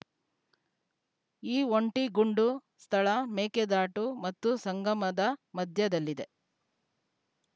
ಈ ಒಂಟಿಗುಂಡು ಸ್ಥಳ ಮೇಕೆದಾಟು ಮತ್ತು ಸಂಗಮದ ಮಧ್ಯದಲ್ಲಿದೆ